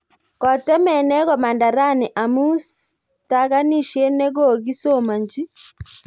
Kotemenee komanda rani amu stakanishet nekogiisomanchi